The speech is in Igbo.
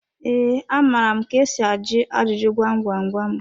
Ee, amara m ka esi ajụ ajụjụ gwam gwam gwam.